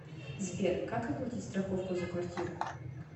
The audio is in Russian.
сбер как оплатить страховку за квартиру